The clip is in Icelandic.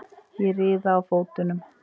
Ég riða á fótunum.